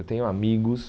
Eu tenho amigos...